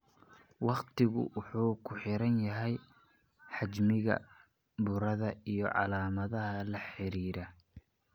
Waqtigu wuxuu ku xiran yahay xajmiga burada iyo calaamadaha la xiriira.